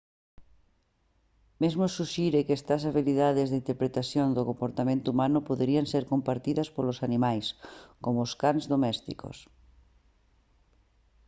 mesmo suxire que estas habilitades de interpretación do comportamento humano poderían ser compartidas polos animais como os cans domésticos